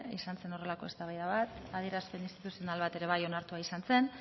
izan zen horrelako eztabaida bat adierazpen instituzional bat ere bai onartua izan zen